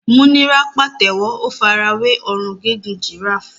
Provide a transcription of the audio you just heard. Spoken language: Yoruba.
Múnírá pàtẹ́wọ́, ó fara wé ọrùn gígùn giraffe.